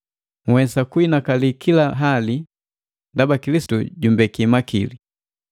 Nhwesa kuhinakali kila hali ndaba Kilisitu jumbeke makili.